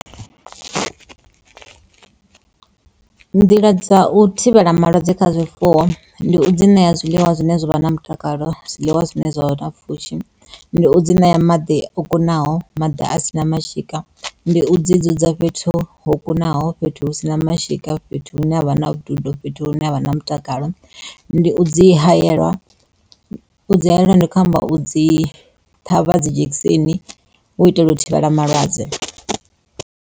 Nḓila dza u thivhela malwadze kha zwifuwo ndi u dzi ṋea zwiḽiwa zwine zwa vha na mutakalo, zwiḽiwa zwine zwavha na pfhushi ndi u dzi ṋea maḓi o kunaho maḓi a si na mashika, ndi u dzi dzudza fhethu ho kunaho fhethu hu sina mashika fhethu hune havha na vhududo, fhethu hune ha vha na mutakalo ndi u dzi hayelwa u dzi hayela ndi kho amba u dzi ṱhavha dzi dzhekiseni u itela u thivhela malwadze.